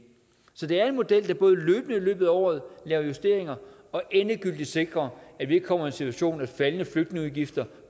så det er en model der både løbende i løbet af året laver justeringer og endegyldigt sikrer at vi ikke kommer i en situation hvor faldende flygtningeudgifter